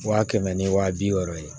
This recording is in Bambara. Wa kɛmɛ ni wa bi wɔɔrɔ ye